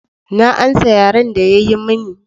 Na amsa yaren da ya yi mani.